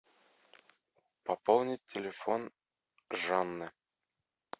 пополнить телефон жанны